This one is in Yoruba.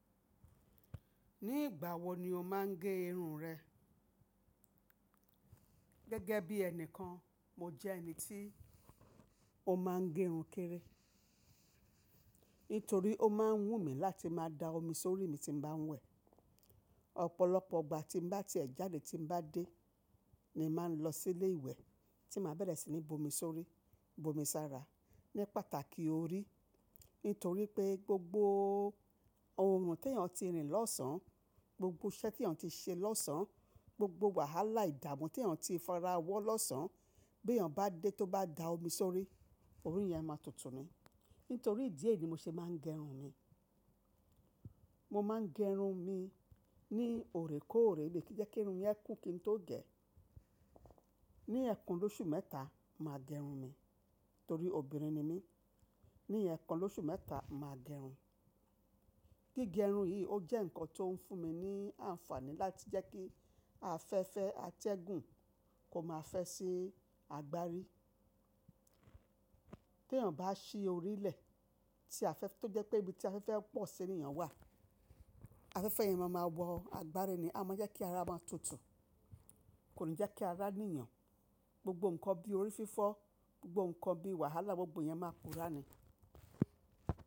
Ní ìgbà wo ni o máa ń gé irun rẹ? Gẹ́gẹ́ bí ẹni kan, mo jẹ́ ẹni tí ó máa ń gé irun kéré. Nítorí ó máa ń wù mí láti máa da omi sórí mi tí n bá ń wẹ̀. Ọ̀pọ̀lọpọ̀ ìgbà tí mo bá ti ẹ̀ jáde tí mo bá dé, ni màá lọ sí ilé ìwẹ̀ tí màá bẹ̀rẹ̀ sí ní bu omi sórí, bu omi sára ní pàtàkì òrí. Nítorí pé gbògbò ohùn tí èyàn ti rìn lọ́sàn án, gbògbò iṣẹ́ tí yàn ti ṣe lọ́sàn án, gbògbò wàhálà ìdààmú tí yàn ti farawọ́ lọ́sàn án, bí yàn bá dé tó bá da omi sórí, orí yẹn máa tutù ni. Nítorí ìdí èyí ni mo ṣe máa ń gé irun mi. Mo máa ń gé irun mi ní ò rè kó ò rè bíi kí jẹ́ kí irun yẹn kún kí n tó gẹ. Ni ẹ̀kàn lóṣù mẹ́ta, màá gé irun mi. Torí obìnrin ni mí. Ni ẹ̀kàn lóṣù mẹ́ta, màá gé irun. Gígẹ irun yìí ó jẹ́ ǹkan tó ń fún mi ní àǹfààní láti jẹ́ kí afẹ́fẹ́ atẹ́gùn kó má fẹ́ sí àgbárí. Bí èyàn bá sí orílẹ̀ tí afẹ́fẹ́ tó jẹ́ pé ibi tí afẹ́fẹ́ pọ̀ sí ni yàn wà, afẹ́fẹ́ yẹn máa ma wọ àgbárí ni, a máa jẹ́ kí ara máa tutù. Kò ní jẹ́ kí àrá ní yàn. Gbògbò ǹkan bí orí fífọ́, gbogbo ǹkan bí wàhálà gbògbò yẹn máa pura ni.